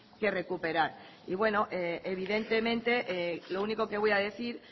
que recuperar y bueno evidentemente lo único que voy a decir